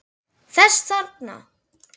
Þessa þarna!